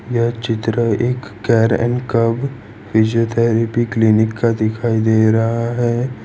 यह चित्र एक care n cure physiotherapy clinic का दिखाई दे रहा है।